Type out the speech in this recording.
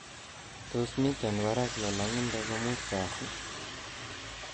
Tos miten barak lolongindo komuut Kasi